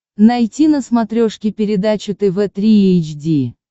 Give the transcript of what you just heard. найти на смотрешке передачу тв три эйч ди